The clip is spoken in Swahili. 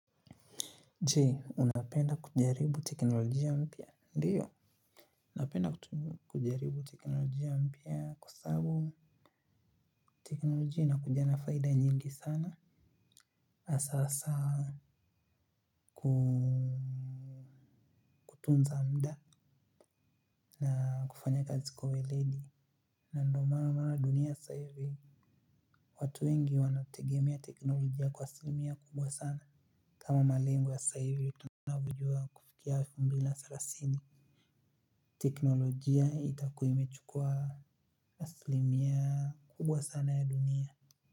Je? Unapenda kujaribu teknolojia mpya ndiyo. Napenda kujaribu teknolojia mpya kwa sababu teknolojia inakuja na faida nyingi sana. Hasahasa kutunza muda. Na kufanya kazi kwa weledi. Na ndo maana dunia sasahivi. Watu wengi wanategemea teknolojia kwa asilimia kubwa sana. Kama malengo ya sasahivi tunavyojua kufikia elfu mbili na thelathini teknolojia itakua imechukua asilimia kubwa sana ya dunia.